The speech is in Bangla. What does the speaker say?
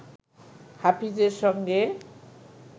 হাফিজের সঙ্গে